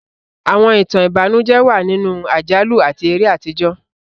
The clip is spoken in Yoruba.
Àwọn ìtàn ìbànújẹ́ wà nínú àjálù àti eré àtijọ́.